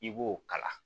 I b'o kala